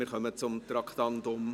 Wir kommen zum Traktandum 90.